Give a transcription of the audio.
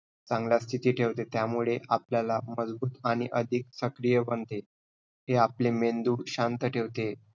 चांगल्या स्थिति ठेवते. त्यामुळे आपल्याला मजबूत आणि अधिक सक्रिय बनते. हे आपले मेंदू शांत ठेवते.